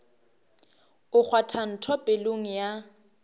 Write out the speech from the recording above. o kgwatha ntho pelong ya